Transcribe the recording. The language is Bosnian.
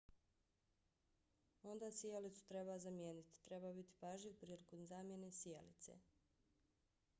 onda sijalicu treba zamijeniti. treba biti pažljiv prilikom zamjene sijalice